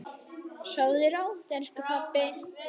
Sofðu rótt, elsku pabbi.